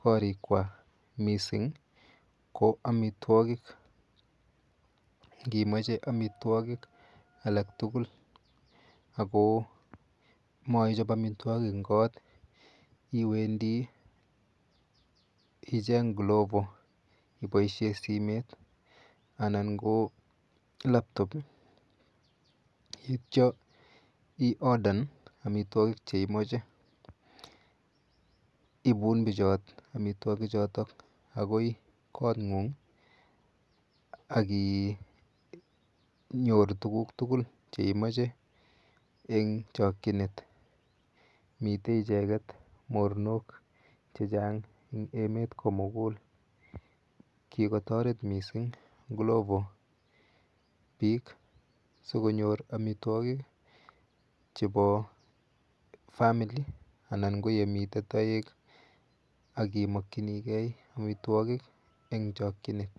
korikwamissing ko omitwogik, inimoche omitwogik alaktugul ako moichob omitwogik en koot iwendi icheng' Glovo iboisien simet anan ko Laptop ii etyo iodan omitwogik cheimoche, inuch bichoton omitwogik agoi koot ng'ung ii akinyoru tuguk tugul cheimoche en chokyinet, miten icheget mornok chechang' en emet komugul, kikotoret missing Glovo sikonyor omitwogik chebo family anan ko yemiten toek akimokyinigen omitwogik en chokyinet.